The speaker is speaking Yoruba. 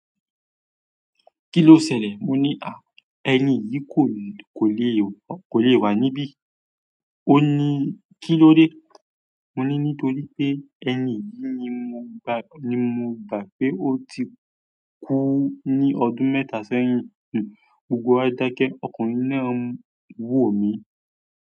Kí ló ṣẹlẹ̀? Mo ní, à, ẹni yìí kò lè, kò lè wà níbí. Ó ní, kí ló dé? Mo ní, nítorí pé ẹni yìí ni mo gbà, ni mo gbà pé ó ti kú ní ọdún mẹ́ta sẹ́yìn. Gbogbo wa dákẹ́, ọkùnrin náà ń wò mí.